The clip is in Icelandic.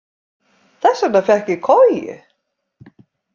Þess vegna fékk ég koju.